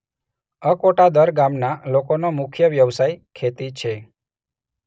અકોટાદર ગામના લોકોનો મુખ્ય વ્યવસાય ખેતી છે.